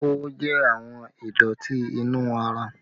Oówo jẹ àwọn ìdọ̀tí inú ara